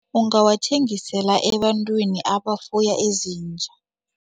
Ungawathengisela ebantwini abafuya izinja.